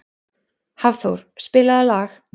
Hafþór, spilaðu lag.